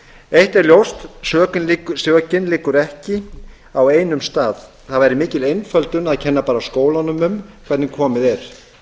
eitt er ljóst að sökin liggur ekki á einum stað það væri mikil einföldun að kenna bara skólanum um hvernig komið er